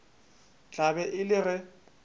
tla be e le ge